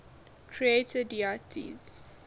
creator deities